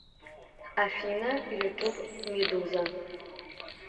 афина ютуб медуза